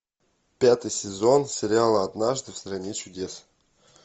пятый сезон сериала однажды в стране чудес